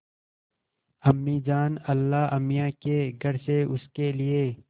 अम्मीजान अल्लाहमियाँ के घर से उसके लिए